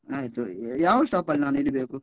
ಆಯ್ತು. ಯಾವ stop ಅಲ್ಲಿ ನಾನ್ ಇಳಿಬೇಕು?